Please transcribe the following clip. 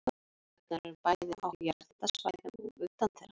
Borholurnar eru bæði á jarðhitasvæðum og utan þeirra.